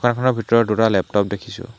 ভিতৰত দুটা লেপটপ দেখিছোঁ।